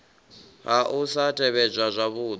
ha u sa tevhedzwa zwavhudi